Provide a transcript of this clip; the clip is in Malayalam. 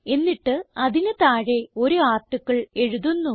എന്നിട്ട് അതിന് താഴെ ഒരു ആർട്ടിക്കിൾ എഴുതുന്നു